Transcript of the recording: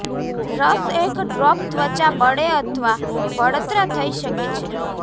રસ એક ડ્રોપ ત્વચા બળે અથવા બળતરા થઈ શકે છે